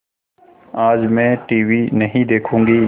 आज मैं टीवी नहीं देखूँगी